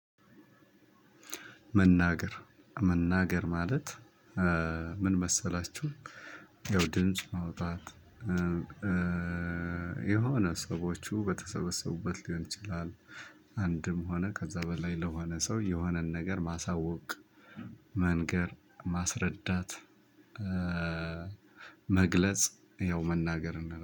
መናገር፣ መናገር ማለት ምን መሰላችሁ? ያው ድምጽ ማውጣት የሆነ ሰዎቹ በተሰበሰቡበት ሊሆን ይችላል። አንድም ሆነ ከዛ በላይ ለሆነ ሰው የሆነን ነገር ማሳወቅ፣ መንገር፣ ማስረዳት፣ መግለጽ ያው መናገር እንደ